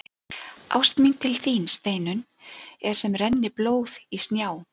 Ást mín til þín, Steinunn, er sem renni blóð í snjá.